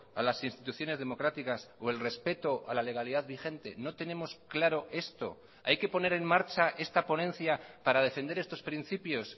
a las instituciones democráticas o el respeto a la legalidad vigente no tenemos claro esto hay que poner en marcha esta ponencia para defender estos principios